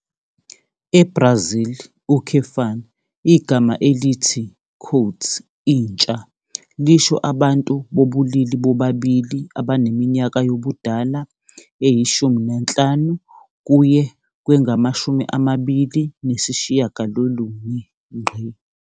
EBrazil, igama elithi "intsha" lisho abantu bobulili bobabili abaneminyaka yobudala eyi-15 kuye kwengama-29.